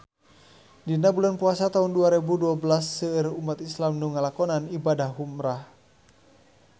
Dina bulan Puasa taun dua rebu dua belas seueur umat islam nu ngalakonan ibadah umrah